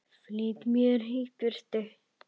Flýtti mér í burtu.